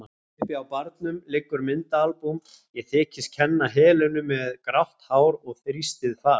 Uppi á barnum liggur myndaalbúm, ég þykist kenna Helenu með grátt hár og þrýstið fas.